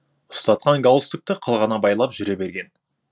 ұстатқан галстукты қылғына байлап жүре берген